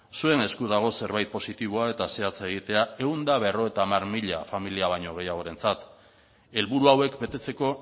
zuen esku dago zerbait positiboa eta zehatza egiten ehun eta berrogeita hamar mila familia baino gehiagoarentzat helburu hauek betetzeko